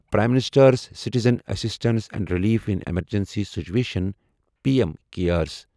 prime ministers citizen assistance and relief in emergency situation P M CARES